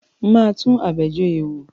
Máa tún Abejoye wò.